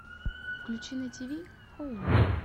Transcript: включи на тиви хоум